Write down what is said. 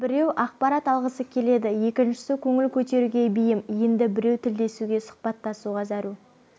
біреу ақпарат алғысы келеді екіншісі көңіл көтеруге бейім енді біреу тілдесуге сұхбаттасуға зәру